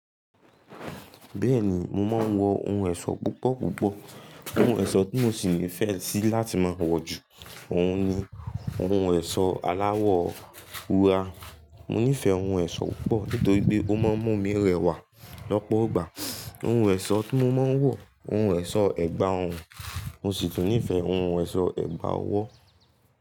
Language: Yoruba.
Bẹ́ẹ̀ni, mo máa ń wọ ohun ẹ̀ṣọ́ púpọ̀ púpọ̀. Ohun ẹ̀ṣọ́ tí mo sì nífẹ̀ẹ́ sí láti máa wọ̀ jù ọ̀un ni ohun ẹ̀ṣọ́ aláwọ̀ wúrà. Mo nífẹ̀ẹ́ ohun ẹ̀ṣọ́ púpọ̀ nítorí pé ó máa ń mú mi rẹwà lọ́pọ̀ ògbà. Ohun ẹ̀ṣọ́ tí mo máa ń wọ̀, ohun ẹ̀ṣọ́ ẹ̀gbà ọrùn, mo sì tún nífẹ̀ẹ́ ohun ẹ̀ṣọ́ ẹ̀gbà ọwọ́.